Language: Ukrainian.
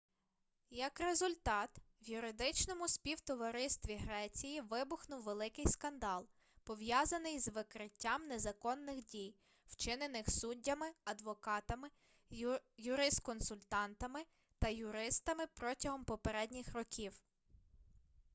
як результат в юридичному співтоваристві греції вибухнув великий скандал пов'язаний з викриттям незаконних дій вчинених суддями адвокатами юрисконсультами та юристами протягом попередніх років